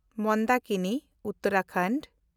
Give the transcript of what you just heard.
ᱢᱚᱱᱫᱟᱠᱤᱱᱤ (ᱩᱛᱛᱚᱨᱟᱯᱷᱳᱨᱴ)